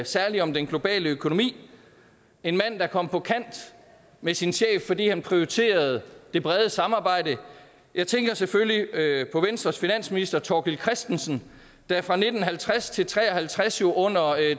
særlig om den globale økonomi en mand der kom på kant med sin chef fordi han prioriterede det brede samarbejde jeg tænker selvfølgelig på venstres finansminister thorkil kristensen der fra nitten halvtreds til nitten tre og halvtreds under